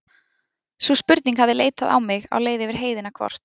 Sú spurning hafði leitað á mig á leið yfir heiðina hvort